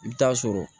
I bɛ taa sɔrɔ